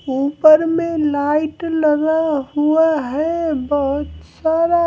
ऊपर में लाइट लगा हुआ है बहुत सारा--